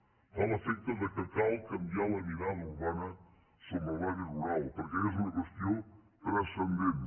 em fa l’efecte que cal canviar la mirada urbana sobre l’àmbit rural perquè és una qüestió transcendent